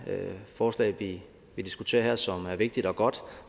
forslag vi vi diskuterer her som er vigtigt og godt